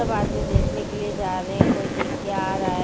सब आदमी देखने के लिए जा रहे हैं कोई देख के आ रहा है।